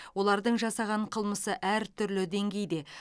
олардың жасаған қылмысы әртүрлі деңгейде